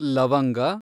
ಲವಂಗ